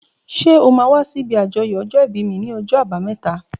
Ṣé ó mà wà si ibi ájọyọ̀ ọjọ ibi mi ni ọjọ àbàámẹ̀tá?